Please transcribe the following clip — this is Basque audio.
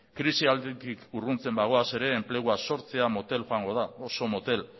krisi alditik urruntzen bagoaz ere enplegua sortzea motel joango da oso motel